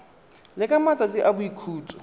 le ka matsatsi a boikhutso